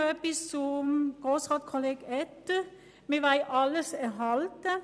Zum Votum von Grosssrat Etter: Er sagt, wir wollten alles erhalten.